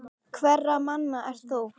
Hverra manna ert þú?